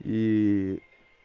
и